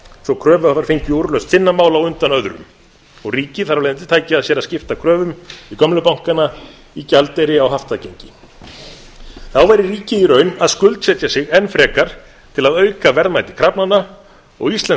svo að kröfuhafar fengju úrlausn sinna mála á undan öðrum og ríkið tæki að sér að skipta kröfum í gömlu bankana í gjaldeyri á haftagengi þá væri ríkið í raun að skuldsetja sig enn frekar til að auka verðmæti krafnanna og íslenskt